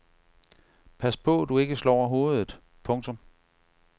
Pas på du ikke slår hovedet. punktum